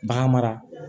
Bagan mara